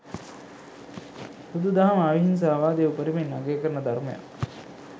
බුදු දහම අවිහින්සාවාදය උපරිමයෙන් අගය කරන ධර්මයක්.